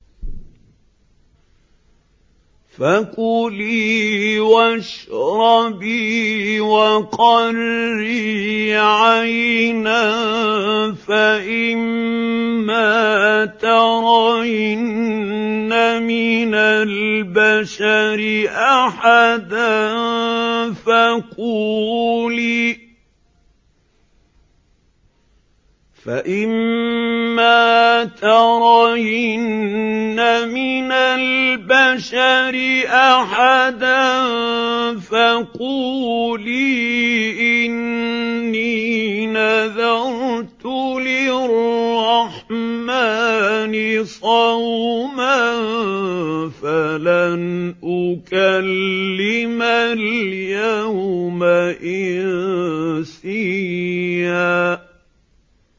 فَكُلِي وَاشْرَبِي وَقَرِّي عَيْنًا ۖ فَإِمَّا تَرَيِنَّ مِنَ الْبَشَرِ أَحَدًا فَقُولِي إِنِّي نَذَرْتُ لِلرَّحْمَٰنِ صَوْمًا فَلَنْ أُكَلِّمَ الْيَوْمَ إِنسِيًّا